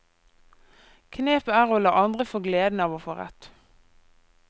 Knepet er å la andre få gleden av å få rett.